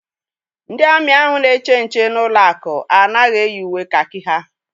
Ndị amị ahụ na-eche nche n'ụlọ akụ anaghị eyi uwe kakị ha.